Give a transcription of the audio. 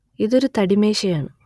ഇതൊരു തടിമേശയാണ്